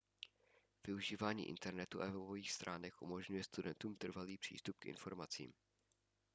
využívání internetu a webových stránek umožňuje studentům trvalý přístup k informacím